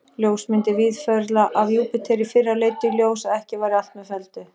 Ljósmyndir Víðförla af Júpíter í fyrra leiddu í ljós, að ekki væri allt með felldu.